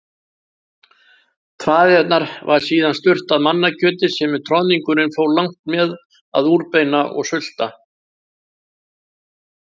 traðirnar var síðan sturtað mannakjöti sem troðningurinn fór langt með að úrbeina og sulta.